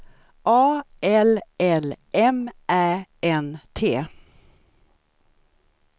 A L L M Ä N T